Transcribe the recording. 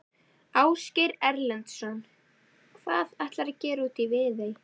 Ásgeir Erlendsson: Hvað ætlarðu að gera úti í Viðey?